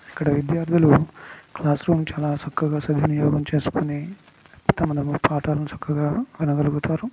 ఇక్కడ విద్యార్థులు classroom చాలా చక్కగా సద్వినియోగం చేసుకుని పాఠాలను చక్కగా వినగలుగుతారు.